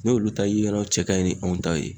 N'olu ta ye o cɛ ka ɲi ni anw ta ye